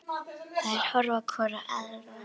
Þær horfa hvor á aðra.